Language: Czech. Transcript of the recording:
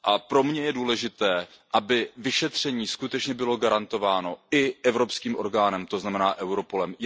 Pro mě je důležité, aby vyšetření bylo skutečně garantováno i evropským orgánem, to znamená Europolem.